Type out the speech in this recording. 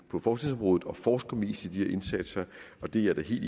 på forskningsområdet og forsker mest i de her indsatser og det er jeg da helt